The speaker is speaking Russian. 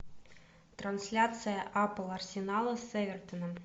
трансляция апл арсенала с эвертоном